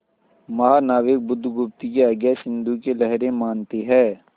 महानाविक बुधगुप्त की आज्ञा सिंधु की लहरें मानती हैं